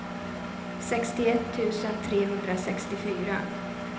sextioett tusen trehundrasextiofyra